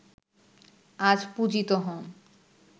আজ পূজিত হন